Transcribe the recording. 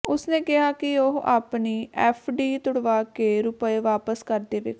ਉਸ ਨੇ ਕਿਹਾ ਕਿ ਉਹ ਆਪਣੀ ਐੱਫਡੀ ਤੁੜਵਾ ਕੇ ਰੁਪਏ ਵਾਪਸ ਕਰ ਦੇਵੇਗਾ